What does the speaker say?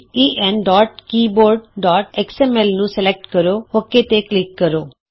ਈ N keyboard X M L enkeyboardਐਕਸਐਮਐਲ ਨੂੰ select ਕਰੋਔਕੇ ਤੇ ਕਲਿਕ ਕਰੋ